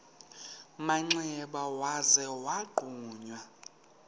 manxeba waza wagquma